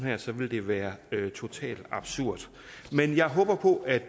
dem så ville det være totalt absurd men jeg håber på at